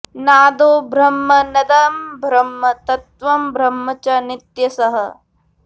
नादो ब्रह्म नदं ब्रह्म तत्त्वं ब्रह्म च नित्यशः